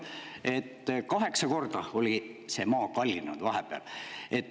Aga kaheksa korda oli maa vahepeal kallinenud.